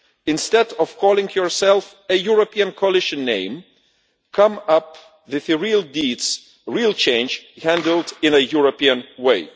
Instead of calling yourself a European coalition name, come up with the real deeds, real change handled in a European way.